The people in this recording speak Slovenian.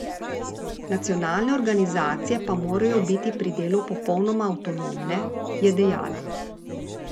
Nacionalne organizacije pa morajo biti pri delu popolnoma avtonomne, je dejala.